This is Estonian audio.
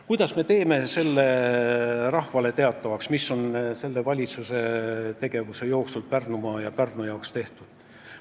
Kuidas me teeme rahvale teatavaks, mis on selle valitsuse tegevuse jooksul Pärnumaa ja Pärnu jaoks tehtud?